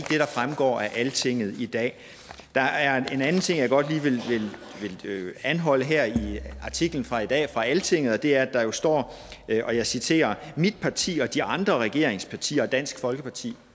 fremgår af altinget i dag der er en anden ting jeg godt lige vil anholde her i artiklen fra i dag fra altinget og det er at der jo står og jeg citerer mit parti de andre regeringspartier og dansk folkeparti